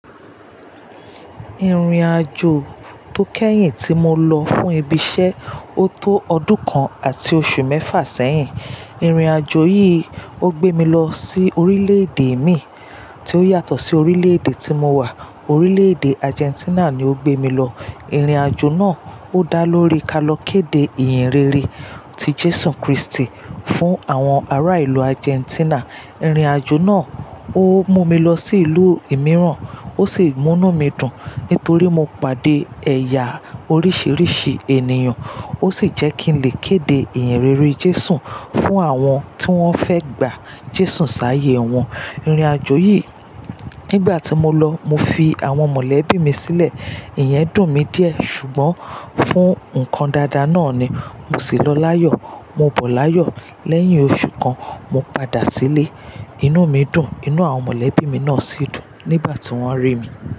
Irin-ajo to kẹyin ti mo lọ fun ibi-iṣẹ, o to ọdun kan ati oṣu mẹfa sẹhin. Irin-ajo yii o gbe mi lọ si orilẹ-ede mi n ti o yatọ si orilẹ-ede ti mo wa. Orilẹ-ede Argentina ni o gbe mi lọ. Irin-ajo naa o da lori ka lọ kede eyan re re ti Jesu Kristi fun awọn ara ilu Argentina. Irin-ajo naa o mu mi lọ si ilu imiiran, o si munu mi dun nitori mo pade ẹya oriṣiriṣi eniyan, o si jẹ ki n le kede eyan rere Jesu fun awọn ti wọn fẹ gba Jesu saye wọn. Irin-ajo yii, nigbati mo lọ, mo fi awọn mọlẹbi mi silẹ. Iyẹn dun mi diẹ ṣugbọn fun nkan dada naa ni mo si lọ layọ. Mo bọ layọ lẹyin oṣu kan, mo pada si ile. Inu mi dun, inu awọn mọlẹbi mi naa si dun nigbati wọn ri mi.